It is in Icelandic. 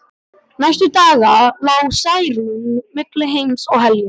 Næstu daga lá Særún milli heims og helju.